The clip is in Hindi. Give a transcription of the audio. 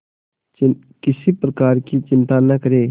किसी प्रकार की चिंता न करें